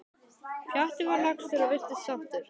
Pjatti var lagstur og virtist sáttur.